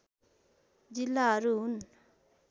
जिल्लाहरू हुन्